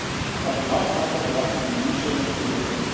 Áttum við langt samtal sem opnaði mér ný sjónarsvið og efldi mér kjark.